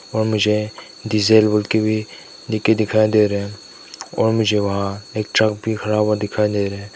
और मुझे डीजेल भी लिख के दिखाई दे रहा है और मुझे वहां एक ट्रक भी खड़ा हुआ दिखाई दे रहे --